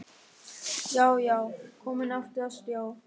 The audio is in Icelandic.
Já, já, komin aftur á stjá!